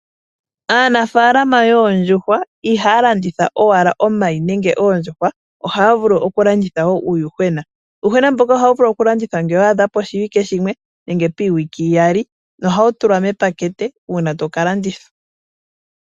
Aaniimuna yoondjuhwa ihaya landitha owala omayi nenge oondjuhwa ohaya vulu okulanditha wo uuyuhwena . Uuyuhwena mboka ohawu vulu okulandithwa ngele wa adha poshiwike shimwe nenge piiwike iyali, nohawu tulwa mepateke ngele tawu landithwa.